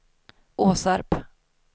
Åsarp